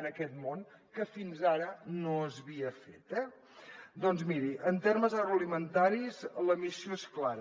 en aquest món que fins ara no s’havia fet eh doncs miri en termes agroalimentaris la missió és clara